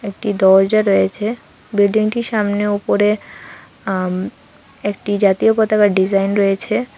একটি দরজা রয়েছে বিল্ডিং -টির সামনে উপরে আ একটি জাতীয় পতাকার ডিজাইন রয়েছে।